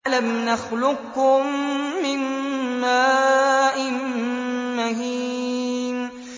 أَلَمْ نَخْلُقكُّم مِّن مَّاءٍ مَّهِينٍ